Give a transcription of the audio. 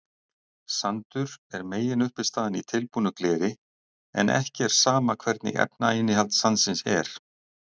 Sandur er meginuppistaðan í tilbúnu gleri en ekki er sama hvernig efnainnihald sandsins er.